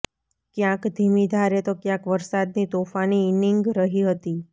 ક્યાંક ધીમી ધારે તો ક્યાંક વરસાદની તોફાની ઇનિંગ રહી હતી